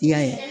I y'a ye